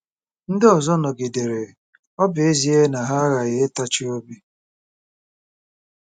Ndị ọzọ nọgidere, ọ bụ ezie na ha aghaghị ịtachi obi.